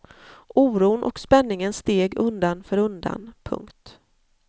Oron och spänningen steg undan för undan. punkt